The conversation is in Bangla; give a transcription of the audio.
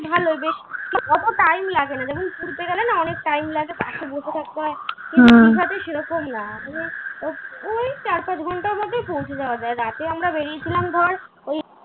এই ভালো বেশ অত time লাগেনা যেমন ঘুরতে গেলে না অনেক time লাগে bus এ বসে থাকতে হয় সেরকম না ঐ চার পাঁচ ঘন্টার মধ্যে পৌঁছে যাওয়া যাই রাতে আমরা বেরিয়ে ছিলাম ধর ওই।